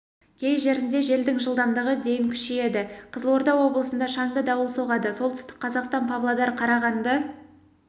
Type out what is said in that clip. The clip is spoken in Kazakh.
кей жерінде желдің жылдамдығы дейін күшейеді қызылорда облысында шаңды дауыл соғады солтүстік қазақстан павлодар қарағанды